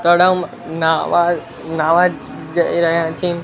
તળાવમાં નાવા નાવા જઈ રહ્યા છે.